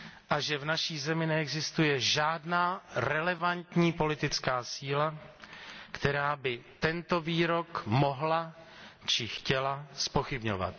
a že v naší zemi neexistuje žádná relevantní politická síla, která by tento výrok mohla či chtěla zpochybňovat.